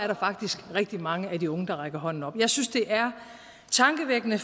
der faktisk rigtig mange af de unge der rakte hånden op jeg synes det er tankevækkende